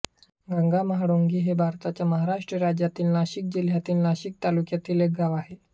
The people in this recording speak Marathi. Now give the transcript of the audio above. गंगाम्हाळुंगी हे भारताच्या महाराष्ट्र राज्यातील नाशिक जिल्ह्यातील नाशिक तालुक्यातील एक गाव आहे